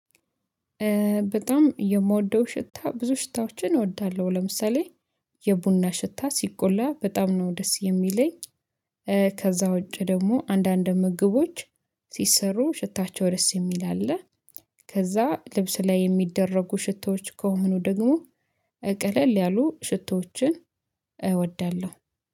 በጣም የምወደው ሽታ ብዙ ሽታዎችን እወዳለሁ ለምሳሌ የቡና ሽታ ሲቆላ በጣም ነው ደስ የሚለኝ። ከዛ ውጪ ደግሞ አንዳንድ ምግቦች ሲሰሩ ሽታቸው ደስ የሚል አለ። ከዛ ልብስ ላይ የሚደረጉ ሽቶዎች ከሆኑ ደግሞ ቀለል ያሉ ሽቶዎችን እወዳለሁ